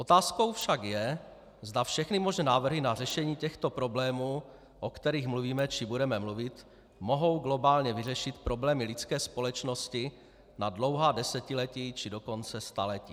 Otázkou však je, zda všechny možné návrhy na řešení těchto problémů, o kterých mluvíme či budeme mluvit, mohou globálně vyřešit problémy lidské společnosti na dlouhá desetiletí, či dokonce staletí.